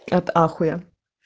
от ахуя